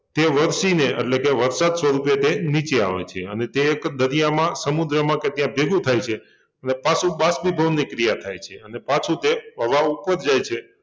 તે વરસીને એટલે કે વરસાદ સ્વરૂપે તે નીચે આવે છે અને તે એક દરિયામાં, સમુદ્રમાં કે ત્યાં ભેગુ થાય છે અને પાછું બાષ્પીભવનની ક્રિયા થાય છે અને પાછું તે હવા ઉપર જાય છે